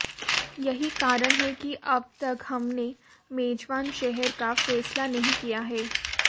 यही कारण है कि अब तक हमने मेजबान शहर का फैसला नहीं किया है